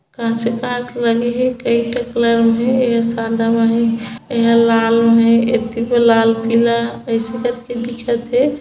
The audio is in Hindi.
कांचे कांच लगे हे कई ठ कलर म हे एहा सादा म हे एहा लाल म हे एती बर लाल पिला अइसे करके दिखत हे।